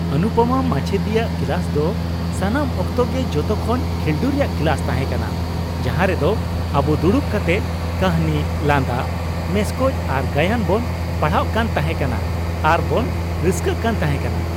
ᱚᱱᱩᱯᱟᱢᱟ ᱢᱟᱪᱮᱫᱟᱹᱱᱤᱭᱟᱜ ᱠᱞᱟᱥ ᱫᱚ ᱥᱟᱱᱟᱢ ᱚᱠᱛᱚ ᱜᱮ ᱡᱚᱛᱚ ᱠᱷᱚᱱ ᱠᱷᱤᱞᱰᱩ ᱨᱮᱭᱟᱜ ᱠᱞᱟᱥ ᱛᱟᱦᱮᱸᱠᱟᱱᱟ ᱡᱟᱦᱟ ᱨᱮᱫᱚ ᱟᱵᱩ ᱫᱩᱲᱩᱵ ᱠᱟᱛᱮᱫ ᱠᱟᱹᱦᱱᱤ, ᱞᱟᱸᱫᱟ ᱢᱮᱥᱠᱚᱡ ᱟᱨ ᱜᱟᱭᱟᱱ ᱵᱚᱱ ᱯᱟᱲᱦᱟᱣ ᱠᱟᱱ ᱛᱟᱦᱮᱠᱟᱱᱟ ᱟᱨ ᱵᱚᱱ ᱨᱟᱹᱥᱠᱟᱹ ᱠᱟᱱ ᱛᱟᱦᱮᱠᱟᱱᱟ ᱾